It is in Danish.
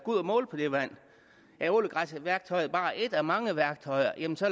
ud at måle på det vand er ålegræsværktøjet bare et af mange værktøjer jamen så